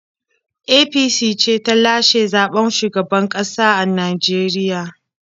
APC ce ta lashe zaɓen shugaban ƙasa a Najeriya.